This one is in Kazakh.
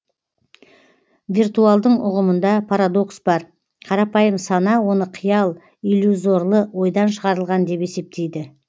виртуалдың ұғымында парадокс бар қарапайым сана оны қиял иллюзорлы ойдан шығарылған деп есептейді